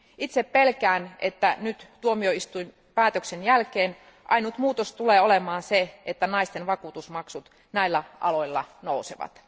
Itse pelkään, että nyt tuomioistuinpäätöksen jälkeen ainoa muutos tulee olemaan se, että naisten vakuutusmaksut näillä aloilla nousevat.